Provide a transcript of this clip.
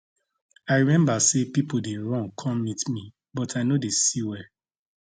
i remember say pipo dey run come meet me but i no dey see well